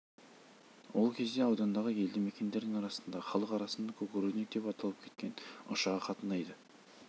ол кезде аудандағы елді мекендердің арасында халық арасында кукурузник деп аталып кеткен ұшағы қатынайды